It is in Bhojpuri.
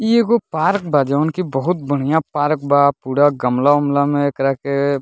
इ एगो पार्क बा जोन की बहुत बढ़िया पार्क बा पूरा गमला उमला मे एकरा के --